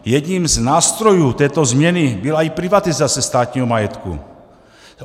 Jedním z nástrojů této změny byla i privatizace státního majetku.